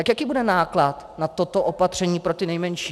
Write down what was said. Tak jaký bude náklad na toto opatření pro ty nejmenší?